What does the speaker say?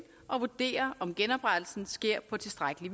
og vurdere om genoprettelsen sker på tilstrækkelig